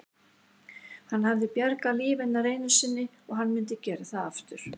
Hann hafði bjargað lífi hennar einu sinni og hann myndi gera það aftur.